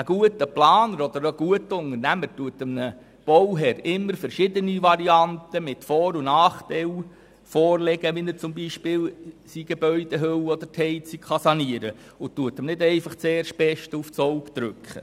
Ein guter Planer oder ein guter Unternehmer legt einem Bauherrn immer verschiedene Varianten mit Vor- und Nachteilen vor, wie er zum Beispiel seine Gebäudehülle oder die Heizung sanieren kann, und drückt ihm nicht einfach das Erstbeste aufs Auge.